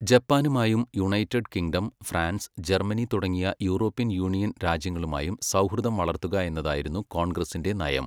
ജപ്പാനുമായും united kingdom, France, Germany തുടങ്ങിയ European union രാജ്യങ്ങളുമായും സൗഹൃദം വളർത്തുക എന്നതായിരുന്നു കോൺഗ്രസിന്റെ നയം.